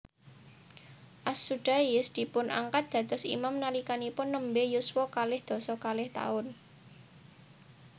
As Sudais dipunangkat dados imam nalikanipun nembé yuswa kalih doso kalih taun